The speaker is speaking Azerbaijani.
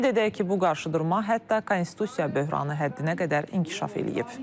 Qeyd edək ki, bu qarşıdurma hətta konstitusiya böhranı həddinə qədər inkişaf eləyib.